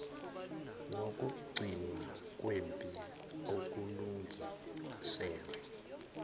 nokugcinwa kwempi okulungiselwe